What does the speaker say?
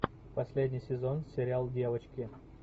последний сезон сериал девочки